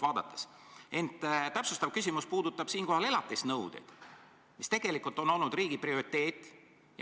Ent minu täpsustav küsimus puudutab elatisnõudeid, mis on olnud riigi prioriteet.